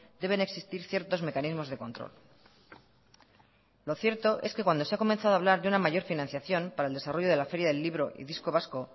deben existir ciertos mecanismos de control lo cierto es que cuando se ha comenzado a hablar de una mayor financiación para el desarrollo de la feria del libro y disco vasco